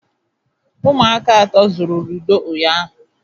Ụmụaka atọ zụrụ ludo ụnyaahụ.